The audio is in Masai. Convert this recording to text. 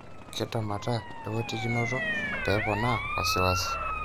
Kentemata lewotikinoto pepona wasiwasi?